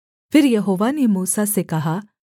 फिर यहोवा ने मूसा से कहा